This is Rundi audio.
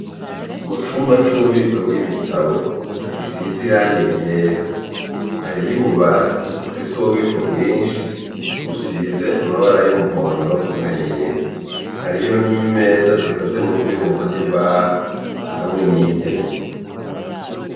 Mu cumba c'ububiko bw'ibitabo gisize iranga iryera hariyo ububati bufise ububiko bwinshi busize amabara y'umuhondo na yera hariyo n'imeza zikoze mu vyuma n'imbaho hamwe n'intebe.